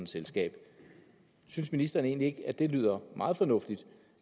selskab synes ministeren egentlig ikke at det lyder meget fornuftigt